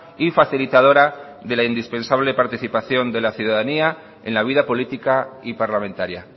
y facilitadora de la indispensable participación de la ciudadanía en la vida política y parlamentaria